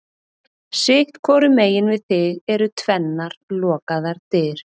Sitt hvoru megin við þig eru tvennar lokaðar dyr.